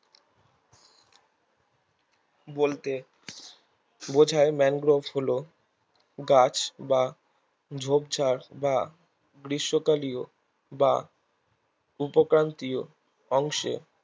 বলতে বোঝায় ম্যানগ্রোভ হলো গাছ বা ঝোপঝাড় বা গ্রীস্মকালিও বা উপক্রান্তীয় অংশে